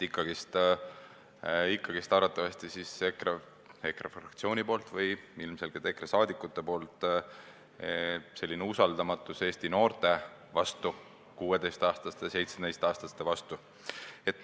Ikkagi on arvatavasti EKRE fraktsioonil või ilmselgelt EKRE liikmetel usaldamatus Eesti noorte vastu, 16–17-aastaste vastu.